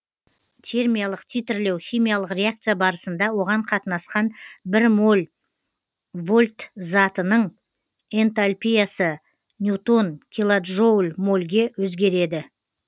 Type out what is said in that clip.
килоджоуль мольге өзгереді